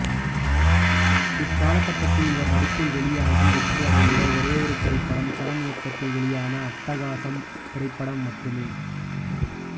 இக்காலகட்டத்தில் இவர் நடிப்பில் வெளியாகி வெற்றியடைந்த ஒரேயொரு திரைப்படம் சரண் இயக்கத்தில் வெளியான அட்டகாசம் திரைப்படம் மட்டுமே